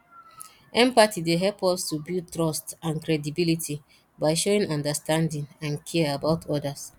empathy dey help us to build trust and credibility by showing understanding and care about odas